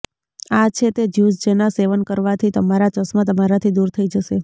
આ છે તે જ્યુસ જેના સેવન કરવાથી તમારા ચશ્મા તમારાથી દૂર થઈ જશે